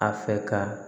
A fɛ ka